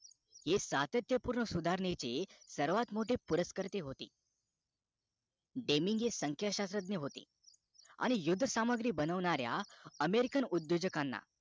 हे सातत्यपूर्ण सुधारणेचे सर्वात मोठे पुरस्कर्ते होते Deni हे संख्या शास्रज्ञ होते आणि युद्ध सामग्री बनवणाऱ्या american उद्योजकांना